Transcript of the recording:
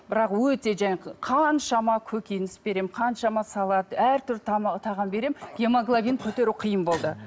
бірақ өте жаңағы қаншама көкөніс беремін қаншама салат әртүрлі тағам беремін гемоглабин көтеру қиын болды